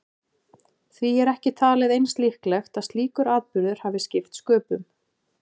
Því er ekki talið eins líklegt að slíkur atburður hafi skipt sköpum.